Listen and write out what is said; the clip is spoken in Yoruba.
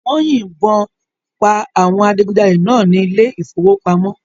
Wọ́n yìnbọn àwọn adigunjalè náà ní ilé ìfowópamọ́